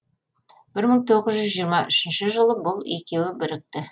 бір мың тоғыз жүз жиырма үшінші жылы бұл екеуі бірікті